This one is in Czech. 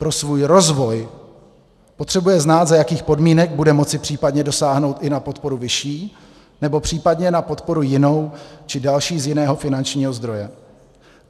Pro svůj rozvoj potřebuje znát, za jakých podmínek bude moci případně dosáhnout i na podporu vyšší, nebo případně na podporu jinou či další z jiného finančního zdroje.